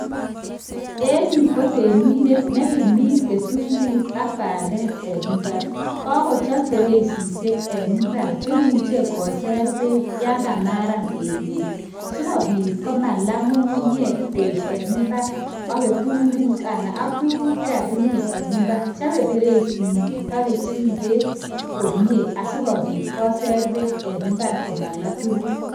Enuu ko temindet nee kimin kitunguik ak bandek eng imbar kakochap peresisiek eng imbar chee imuchii koser bek yangamaran emet soo kopit komala ngungunyek bek eng imbar ak kitunguik ak tuguk chekakimin eng impar chape pererisen nyii ak kechinget komie asikopit koser peek eng impar komalaa tuguk